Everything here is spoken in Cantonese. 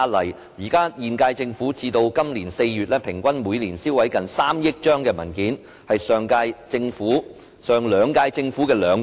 截至今年4月，現屆政府每年平均銷毀近3億張文件，是上兩屆政府的兩倍。